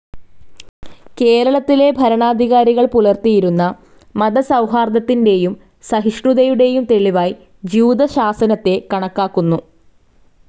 കേരളത്തിലെ ഭരണാധികാരികൾ പുലർത്തിയിരുന്ന മതസൌഹാർദത്തിൻ്റെയും സഹിഷ്ണുതയുടേയും തെളിവായി ജ്യൂതശാസനത്തെ കണക്കാക്കുന്നു.